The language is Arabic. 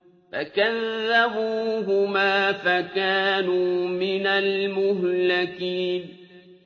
فَكَذَّبُوهُمَا فَكَانُوا مِنَ الْمُهْلَكِينَ